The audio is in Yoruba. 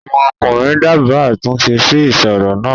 àwọn ọkùnrin dábàá àtúnṣe sí ìsoro náà.